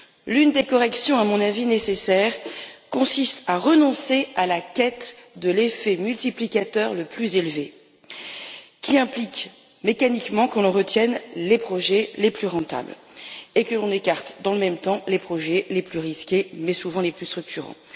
L'une des corrections à mon avis nécessaire consiste à renoncer à la quête de l'effet multiplicateur le plus élevé, qui implique mécaniquement que l'on retienne les projets les plus rentables et que l'on écarte dans le même temps les projets les plus risqués, mais souvent les plus structurants.